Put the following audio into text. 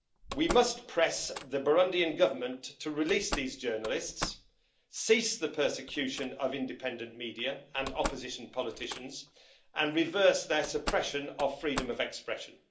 We must press the Burundian Government to release these journalists, cease the persecution of independent media and opposition politicians and reverse their suppression of freedom of expression.